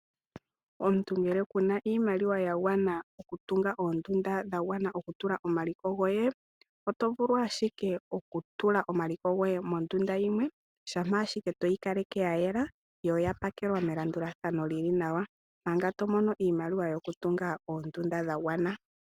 Omuntu ngele kuna iimaliwa yagwana okutunga oondunda dhagwana omaliko goye, oto vulu ashike okutula omaliko goye mondunda yimwe , shampa ashike toyi kaleke yayela, yo oya pakelwa melandulathano lili nawa, manga tomono iimaliwa yokutunga oondunda dhagwana.